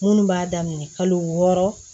Minnu b'a daminɛ kalo wɔɔrɔ